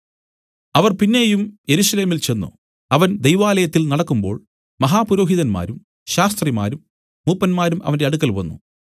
അവർ പിന്നെയും യെരൂശലേമിൽ ചെന്ന് അവൻ ദൈവാലയത്തിൽ നടക്കുമ്പോൾ മഹാപുരോഹിതന്മാരും ശാസ്ത്രിമാരും മൂപ്പന്മാരും അവന്റെ അടുക്കൽ വന്നു